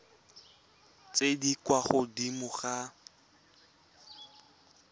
tse di kwa godimo ga